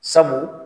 Sabu